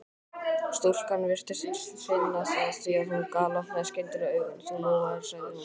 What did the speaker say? Stúlkan virtist finna það því að hún galopnaði skyndilega augun: Þú lofaðir sagði hún.